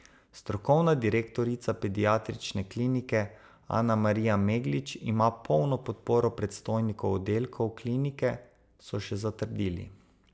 Strokovna direktorica pediatrične klinike Anamarija Meglič ima polno podporo predstojnikov oddelkov klinike, so še zatrdili.